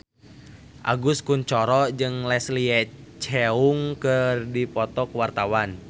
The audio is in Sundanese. Agus Kuncoro jeung Leslie Cheung keur dipoto ku wartawan